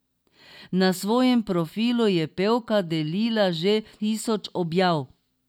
Na svojem profilu je pevka delila že tisoč objav.